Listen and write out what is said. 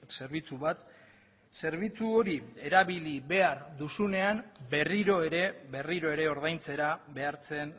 zerbitzu bat zerbitzu hori erabili behar duzunean berriro ere berriro ere ordaintzera behartzen